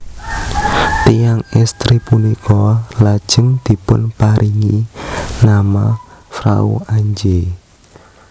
Tiyang estri punika lajeng dipunparingi nama Frau Antje